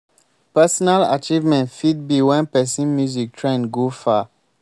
personal achievement fit be when person music trend go far